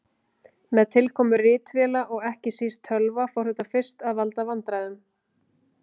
Með tilkomu ritvéla og ekki síst tölva fór þetta fyrst að valda vandræðum.